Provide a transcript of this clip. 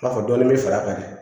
I n'a fɔ dɔɔnin bɛ fara a kan de